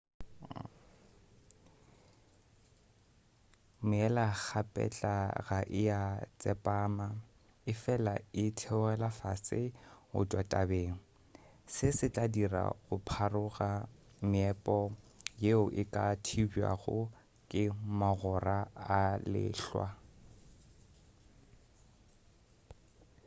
meela-kgapetla ga ea tsepama efela e theogela fase go tšwa tabeng se se tla dira go pharoga meepo yeo e ka thibjwago ke magora a lehlwa